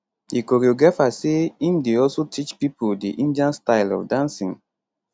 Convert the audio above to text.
di choreographer say im dey also teach pipo di indian style of dancing